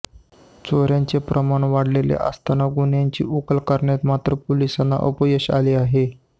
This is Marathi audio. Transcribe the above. चोऱ्यांचे प्रमाण वाढलेले असताना गुन्ह्यांची उकल करण्यात मात्र पोलिसांना अपयश आले आहे